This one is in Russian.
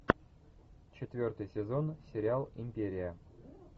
четвертый сезон сериал империя